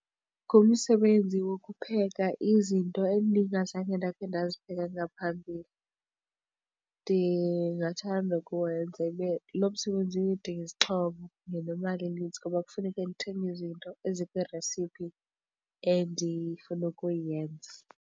Ngumsebenzi wokupheka izinto endingazange ndakhe ndazipheka ngaphambili. Ndingathanda ukuwenza ibe lo msebenzi udinga izixhobo nemali enintsi ngoba kufuneke ndithenge izinto ezikwi-recipe endifuna ukuyenza.